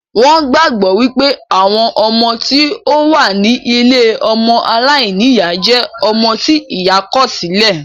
Wón gbàgbọ́ wípé àwọn ọmọ tí ó wà ní ilée ọmọ aláìníyá jẹ́ ọmọ tí ìyá kọ̀ sí lẹ̀